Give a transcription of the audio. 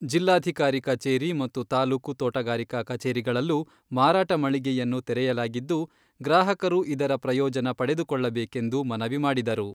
ಜಿಲ್ಲಾಧಿಕಾರಿ ಕಚೇರಿ ಮತ್ತು ತಾಲೂಕು ತೋಟಗಾರಿಕಾ ಕಚೇರಿಗಳಲ್ಲೂ ಮಾರಾಟ ಮಳಿಗೆಯನ್ನು ತೆರೆಯಲಾಗಿದ್ದು, ಗ್ರಾಹಕರು ಇದರ ಪ್ರಯೋಜನ ಪಡೆದುಕೊಳ್ಳಬೇಕೆಂದು ಮನವಿ ಮಾಡಿದರು.